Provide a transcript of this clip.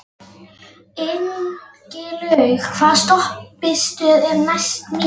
Ingilaug, hvaða stoppistöð er næst mér?